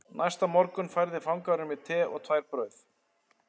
Næsta morgun færði fangavörður mér te og tvær brauð